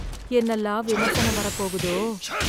என்னல்லாம் விமர்சனம் வரப்போகுதோ!